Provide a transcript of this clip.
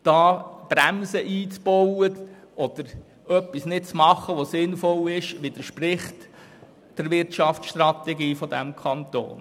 Hier Bremsen einzubauen oder etwas Sinnvolles nicht zu tun, widerspricht der Wirtschaftsstrategie dieses Kantons.